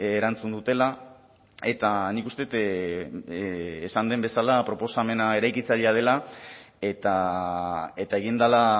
erantzun dutela eta nik uste dut esan den bezala proposamena eraikitzailea dela eta eta egin dela